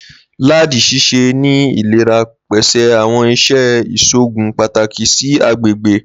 Ladi ṣiṣẹ ni ilera, pese awọn iṣẹ iṣoogun pataki si agbegbe.